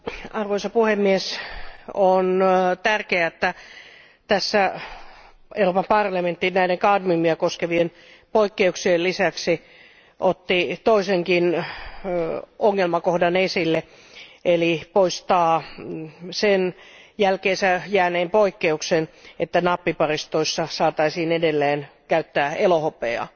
Arvoisa puhemies, on tärkeää, että tässä Euroopan parlamentti näiden kadmiumia koskevien poikkeuksien lisäksi otti toisenkin ongelmakohdan esille, eli poistaa sen jälkeensä jääneen poikkeuksen, että nappiparistoissa saataisiin edelleen käyttää elohopeaa.